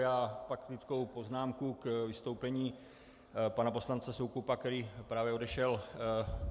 Mám faktickou poznámku k vystoupení pana poslance Soukupa, který právě odešel.